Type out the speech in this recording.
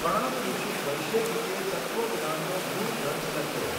કણાદઋષિ વૈશેગિકે તત્વજ્ઞાનનો મુળ ગ્રંથ લખ્યો.